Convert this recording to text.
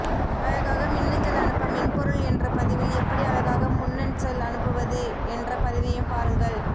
அழகாக மின்னஞ்சல் அனுப்ப மென்பொருள் என்ற பதிவில் எப்படி அழகாக முன்னன்சல் அனுப்புவது என்ற பதிவையும் பாருங்கள்